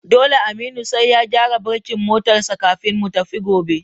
Dole Aminu sai ya gyara birkin motar sa kafin mu tafi gobe